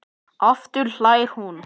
Aftur hlær hún.